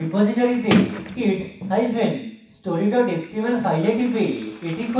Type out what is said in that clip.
রিপোজিটরীতে kidsstory html file টিপে এটি খুলুন